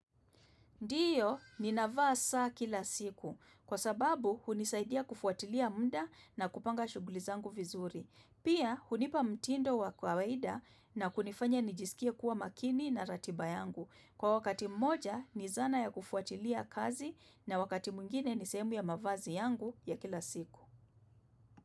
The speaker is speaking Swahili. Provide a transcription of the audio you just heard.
Ndiyo ninavaa saa kila siku kwa sababu hunisaidia kufuatilia muda na kupanga shuguli zangu vizuri. Pia hunipa mtindo wa kawaida na kunifanya nijisikie kuwa makini na ratiba yangu. Kwa wakati mmoja ni zana ya kufuatilia kazi na wakati mwingine ni sehemu ya mavazi yangu ya kila siku.